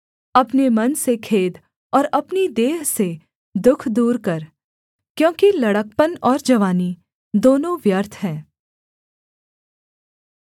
अपने मन से खेद और अपनी देह से दुःख दूर कर क्योंकि लड़कपन और जवानी दोनों व्यर्थ हैं